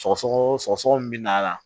Sɔgɔsɔgɔ sɔgɔsɔgɔ min bɛ na la